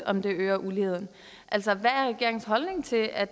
om det øger uligheden altså hvad er regeringens holdning til at